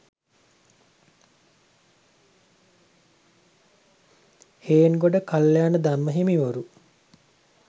Hengoda Kalyanadhamma හිමිවරු